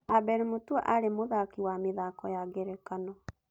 Abel Mutua arĩ mũthaki wa mĩthako ya ngerekano.